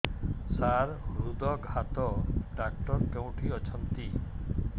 ସାର ହୃଦଘାତ ଡକ୍ଟର କେଉଁଠି ଅଛନ୍ତି